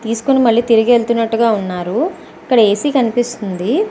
తీసుకొని మల్లి తిరిగి వెళ్తున్నారు అనుకుంటారు. ఇక్కడ ఏసీ కనిపిస్తుంది.